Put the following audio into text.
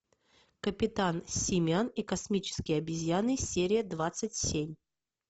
капитан симиан и космические обезьяны серия двадцать семь